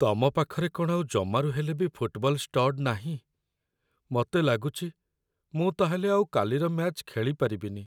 ତମ ପାଖରେ କ'ଣ ଆଉ ଜମାରୁ ହେଲେ ବି ଫୁଟବଲ ଷ୍ଟଡ୍ ନାହିଁ? ମତେ ଲାଗୁଚି ମୁଁ ତା'ହେଲେ ଆଉ କାଲିର ମ୍ୟାଚ୍ ଖେଳିପାରିବିନି ।